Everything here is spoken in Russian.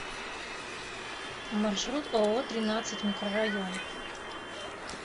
маршрут ооо тринадцать микрорайон